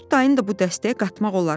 “Qurd dayını da bu dəstəyə qatmaq olar.